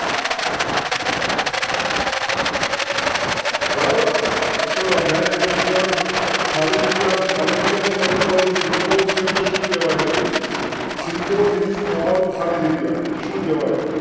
બરાબર ચલો next પ્રશ્ન ખાલી જગ્યા ખાલી જગ્યા નહીં, પરંતુ આજે symbol એને શું કહેવાય છે? ખાલી જગ્યા શું કેવાય?